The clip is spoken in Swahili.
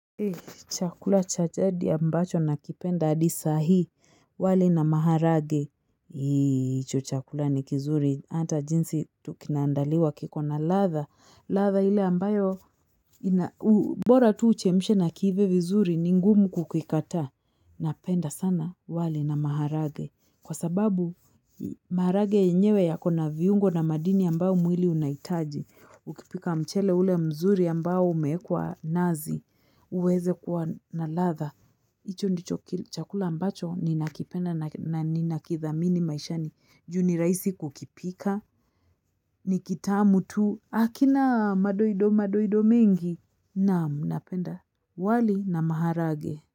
Chakula cha jadi ambacho nakipenda hadi saa hii, wali na maharage. Hicho chakula ni kizuri, hata jinsi kinaandaliwa kiko na ladha, ladha ile ambayo ina bora tu uchemshe na kiive vizuri, ni ngumu kukikataa. Napenda sana wali na maharage. Kwa sababu maharage yenyewe yako na viungo na madini ambayo mwili unahitaji. Ukipika mchele ule mzuri ambao umeekwa nazi uweze kuwa na ladha. Hicho ndicho chakula ambacho ninakipenda na ninakithamini maishani, juu ni rahisi kukipika, ni kitamu tu. Hakina madoido madoido mingi. Naam, napenda wali na maharage.